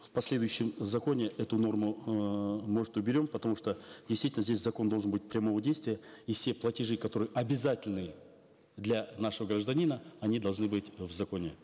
в последующем законе эту норму эээ может уберем потому что действительно здесь закон должен быть прямого действия и все платежи которые обязательны для нашего гражданина они должны быть в законе